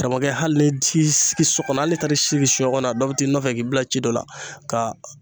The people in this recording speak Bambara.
Karamɔgɔkɛ hali ni t'i sigi sɔkɔnɔ hali n'i taara i sigi sunɲɛkɔnɔ na dɔ bi t'i nɔfɛ k'i bila ci dɔ la ka